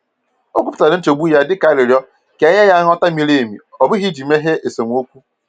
O kwupụtara nchegbu ya dịka arịrịọ ka e nye ya nghọta miri emi, ọ bụghị iji meghee esemokwu.